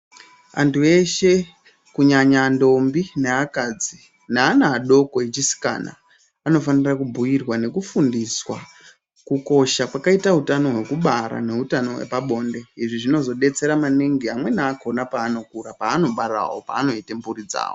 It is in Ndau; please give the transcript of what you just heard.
Antu eshe kunyanya ndombi neakadzi neana adoko echisikana anofanira kubhuirwa nekufundiswa kukosha kwakaita utano hwekubara neutano hwepabonde. Izvi zvinozodetsera maningi amweni akona paanokura paanobaravo panoite mphuri dzawo.